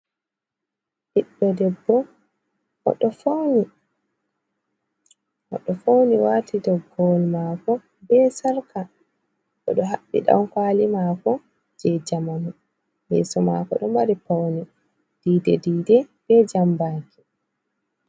Ɓiɗdo debbo mo ɗo fawni, oɗo fauni wati togowol mako be sarka, oɗo haɓbi dankwali mako je jamanu yeeso mako ɗo mari pauni dide-dide be jambaki.